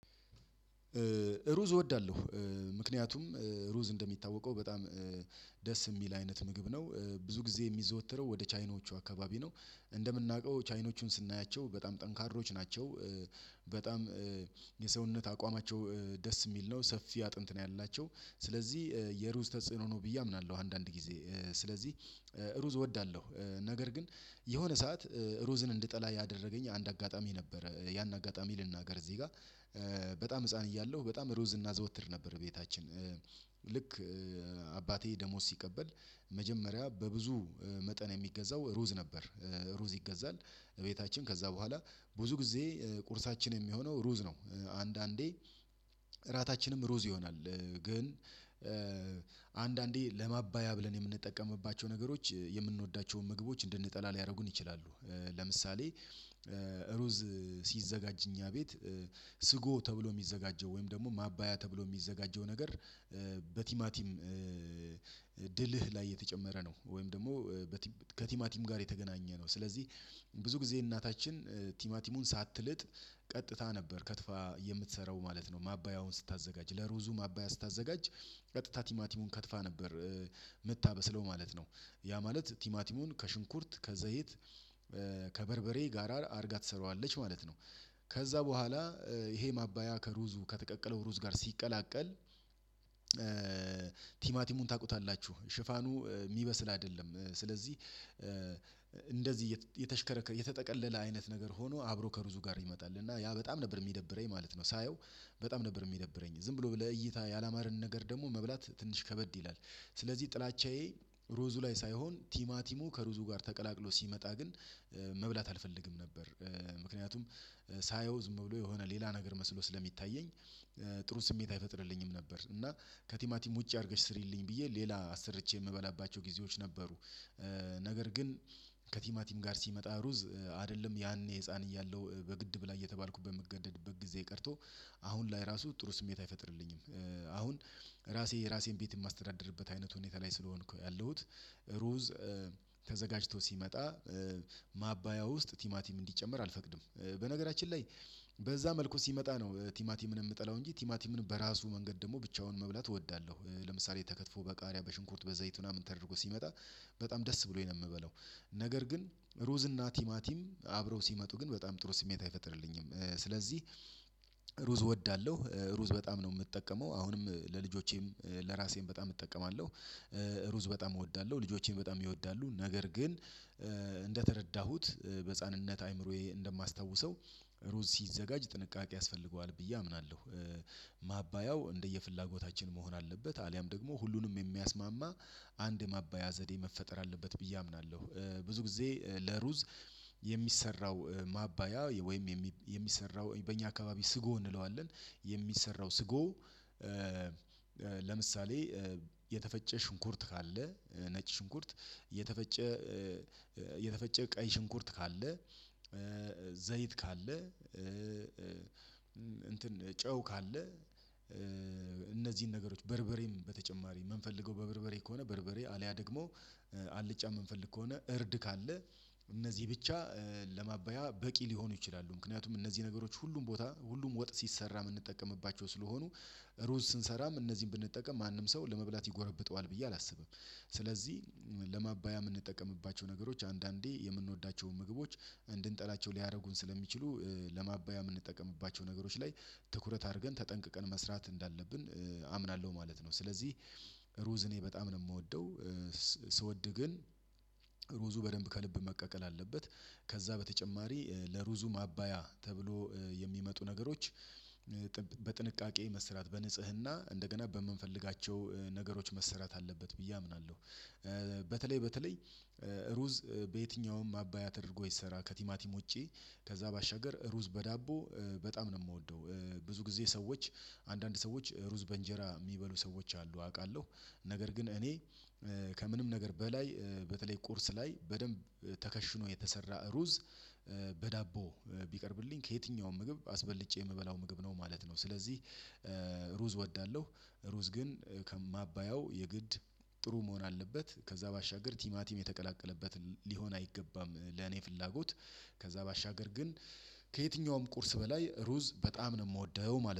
ሩዝ እወዳለሁ ምክንያቱም ሩዝ እንደሚታወቀው በጣም ደስ የሚል አይነት ምግብ ነው። ብዙ ጊዜ የሚዘወተረው ወደ ቻይናዎቹ አካባቢ ነው እንደምናውቀው ቻይኖቹን ስናያቸው በጣም ጠንካሮች ናቸው። በጣም የሰውነት አቋማቸው ደስ የሚል ነው ሰፊ አጥንት ነው ያላቸው። ስለዚህ የሩዝ ተጽዕኖ ነው ብዬ አምናለሁ። አንዳንድ ጊዜ ስለዚህ ሩዝ እወዳለሁ ነገር ግን የሆነ ሰዓት ሩዝን እንድጠላ ያደረገኝ አንድ አጋጣሚ ነበረ። ያን አጋጣሚ ልናገር እዚህ ጋር። በጣም ህፃን እያለሁ በጣም ሩዝ እና ዘወትር ነበር ቤታችን። ልክ አባቴ ደሞዝ ሲቀበል መጀመሪያ በብዙ መጠን የሚገዛው ሩዝ ነበር። ሩዝ ይገዛል ቤታችን ከዛ በኋላ ብዙ ጊዜ ቁርሳችን የሚሆነው ሩዝ ነው። አንዳንዴ እራታችንም ሩዝ ይሆናል። ግን አንዳንዴ ለማባያ ብለን የምንጠቀምባቸው ነገሮች የምንወዳቸውን ምግቦች እንድንጠላ ሊያደርጉን ይችላሉ። ለምሳሌ ሩዝ ሲዘጋጅ እኛ ቤት ስጎ ተብሎ የሚዘጋጀው ወይም ደግሞ ማባያ ተብሎ የሚዘጋጀው ነገር። በቲማቲም ላይ የተጨመረ ነው። ወይም ደግሞ ከቲማቲም ጋር የተገናኘ ነው። ስለዚህ ብዙ ጊዜ እናታችን ቲማቲሙን ሳትልጥ ቀጥታ ነበር ከትፋ የምትሰራው ማለት ነው። ማባያውን ስታዘጋጅ ለሮዙ አባያ ስታዘጋጅ ቀጥታ ቲማቲሙን ከትፋ ነበር። የምታበስለው ማለት ነው ያ ማለት ቲማቲሙን ከሽንኩርት ከዘይት ከበርበሬ ጋራ አድርጋ ትሰራዋለች ማለት ነው። ከዛ በኋላ ይሄ ማባያ ከሩዙ ከተቀቀለው ሩዝ ጋር ሲቀላቀል። ቲማቲሙን ታውቁታላችሁ ሽፋኑ የሚበስል አይደለም ስለዚህ እንደዚህ የተሽከረከረ የተጠቀለለ አይነት ነገር ሆኖ አብሮ ከሩዙ ጋር ይመጣል እና ያ በጣም ነበር የሚደብረኝ ማለት ነው። ሳየው በጣም ነበር የሚደብረኝ ዝም ብሎ ለእይታ ያላማርን ነገር ደግሞ መብላት ትንሽ ከበድ ይላል። ስለዚህ ጥላቻዬ ሩዙ ላይ ሳይሆን ቲማቲሙ ከሩዙ ጋር ተቀላቅሎ ሲመጣ ግን መብላት አልፈልግም ነበር። ምክንያቱም ሳየው ዝም ብሎ የሆነ ሌላ ነገር መስሎ ስለሚታየኝ ጥሩ ስሜት አይፈጥርልኝም ነበር። እና ከቲማቲም ውጪ አድርገሽ ስሪልኝ ብዬ ሌላ አሰርቼ የምበላባቸው ጊዜዎች ነበሩ። ነገር ግን ከቲማቲም ጋር ሲመጣ ሩዝ አይደለም ያኔ ህፃን እያለሁ በግድ ብላ እየተባልኩበት የምገደድበት ጊዜ ቀርቶ አሁን ላይ ራሱ ጥሩ ስሜት አይፈጥርልኝም። አሁን ራሴ የራሴን ቤት የማስተዳደርበት አይነት ሁኔታ ላይ ስለሆንኩ ያለሁት ሩዝ ተዘጋጅቶ ሲመጣ ማባያ ውስጥ ቲማቲም እንዲጨመር አልፈቅድም። በነገራችን ላይ በዛ መልኩ ሲመጣ ነው ቲማቲምን የምጠላው እንጂ ቲማቲምን በራሱ መንገድ ደግሞ ብቻውን መብላት እወዳለሁ። ለምሳሌ ተከትፎ በቃሪያ በሽንኩርት በዘይት ምናምን ተደርጎ ሲመጣ በጣም ደስ ብሎኝ ነው የምበለው። ነገር ግን ሩዝ እና ቲማቲም አብረው ሲመጡ ግን በጣም ጥሩ ስሜት አይፈጥርልኝም። ስለዚህ ሩዝ እወዳለሁ ሩዝ በጣም ነው የምጠቀመው አሁንም ለልጆቼም ለራሴም በጣም እጠቀማለሁ። ሩዝ በጣም እወዳለሁ ልጆቼ በጣም ይወዳሉ ነገር ግን እንደተረዳሁት በህፃንነት አይምሮዬ እንደማስታውሰው ሮዝ ሲዘጋጅ ጥንቃቄ ያስፈልገዋል ብዬ አምናለሁ። እንደየፍላጎታችን መሆን አለበት አልያም ደግሞ ሁሉንም የሚያስማማ አንድ ማባያ ዘዴ መፈጠር አለበት ብዬ አምናለሁ። ብዙ ጊዜ ለሩዝ የሚሰራው ማባያ ወይም የሚሰራው በእኛ አካባቢ ስጎ እንለዋለን። የሚሰራው ስጎ። ለምሳሌ የተፈጨ ሽንኩርት ካለ ነጭ ሽንኩርት የተፈጨ የተፈጨ ቀይ ሽንኩርት ካለ ዘይት ካለ እንትን ጨው ካለ እነዚህን ነገሮች በርበሬም በተጨማሪ የምንፈልገው በበርበሬ ከሆነ በርበሬ አልያ ደግሞ አልጫ የምንፈልግ ከሆነ እርድ ካለ እነዚህ ብቻ ለማባያ በቂ ሊሆኑ ይችላሉ። ምክንያቱም እነዚህ ነገሮች ሁሉም ቦታ ሁሉም ወጥ ሲሰራ የምንጠቀምባቸው ስለሆኑ። ሩዝ ስንሰራም እነዚህን ብንጠቀም ማንም ሰው ለመብላት ይጎረብጠዋል ብዬ አላስብም። ስለዚህ ለማባያ የምንጠቀምባቸው ነገሮች አንዳንዴ የምንወዳቸውን ምግቦች እንድንጠላቸው ሊያደርጉን ስለሚችሉ ለማባያ የምንጠቀምባቸው ነገሮች ላይ ትኩረት አድርገን ተጠንቅቀን መስራት እንዳለብን አምናለሁ። ማለት ነው ስለዚህ ሩዝ እኔ በጣም ነው የምወደው። ስወድ ግን ሩዙ በደንብ ከልብ መቀቀል አለበት። ከዛ በተጨማሪ ለሩዙ ማባያ ተብሎ የሚመጡ ነገሮች በጥንቃቄ መስራት በንጽህና እንደገና በምንፈልጋቸው ነገሮች መስራት አለበት ብዬ አምናለሁ። በተለይ በተለይ ሩዝ በየትኛውም ማባያ ተደርጎ ይሰራ ከቲማቲም ውጪ ከዛ ባሻገር ሩዝ በዳቦ በጣም ነው የምወደው። ብዙ ጊዜ ሰዎች አንዳንድ ሰዎች ሩዝ በእንጀራ የሚበሉ ሰዎች አሉ አውቃለሁ። ነገር ግን እኔ ከምንም ነገር በላይ በተለይ ቁርስ ላይ በደንብ ተከሽኖ የተሰራ ሩዝ ቢቀርብልኝ ከየትኛውም ምግብ አስበልጬ የምበላው ምግብ ነው ማለት ነው። ስለዚህ ሩዝ እወዳለሁ። ሩዝ ግን ከማባያው የግድ ጥሩ መሆን አለበት። ከዛ ባሻገር ቲማቲም የተቀላቀለበት ሊሆን አይገባም። ለኔ ፍላጎት ከዛ ባሻገር ግን ከየትኛውም ቁርስ በላይ ሩዝ በጣም ነው የምወደው ማለት ነው